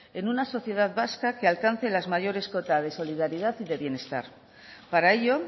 en una sociedad vasca que alcance las mayores cotas de solidaridad y de bienestar para ello